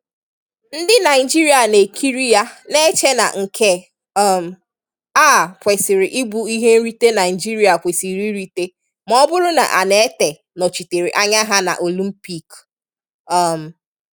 Ndị Naịjirịa na ekiri ya na-eche na nke um a kwesiri ịbụ ihe nrite Naịjirịa kwesịrị irite ma ọ bụrụ na Annette nọchịtere anya ha na Olympiik. um